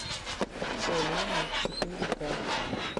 полено четыре к